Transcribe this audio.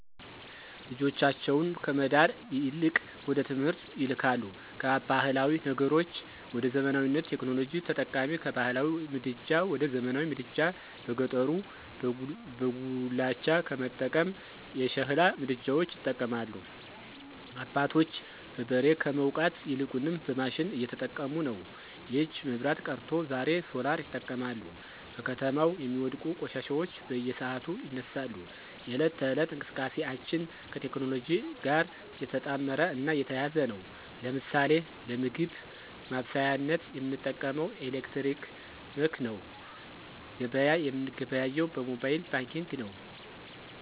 ልጆቻቸውን ከመዳር ይልቅወደትምህርት ይልካሉ ካባህላዊ ነገሮች ወደዘመናዊነት፣ ቴክኖሎጂ ተጠቃሚ፣ ከባህላዊ ምድጃ ወደዘመናዊ ምድጃ በገጠሩበጉላቻ ከመጠቀም የሸሕላ ምድጃዎች ይጠቀማሉ። አባቶች በበሬ ከመዉቃት ይልቁንም በማሽን እየተጠቀሙነዉ። የእጅ መብራት ቀርቶ ዛሬሶላርይጠቀማሉ። በከተማው የሚወድቁ ቆሻሻዎች በየሰዓቱ ይነሳሉ፣ የህለት ተህለት እንቅስቃሴአችን ከቴክኖሎጅእ ጋር የተጣመረ እና የተያያዘ ነዉ። ለምሳሌ ለምግብ ማበሳሳያነት የምንጠቀመዉምኤሌክትረመክነዉ ገበያ የምንገበያየዉ በሞባየል ባንኪግ ነዉ።